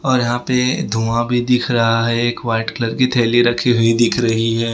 और यहां पे धुआं भी दिख रहा है एक वाइट कलर की थैली रखी हुई दिख रही है।